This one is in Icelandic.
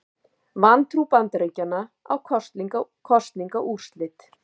Vantrú Bandaríkjanna á kosningaúrslit